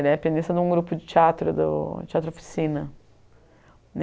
Ele era pianista de um grupo de teatro, do Teatro Oficina.